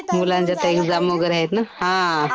मुलांचे आता एक्झाम वगैरे आहेत ना. हा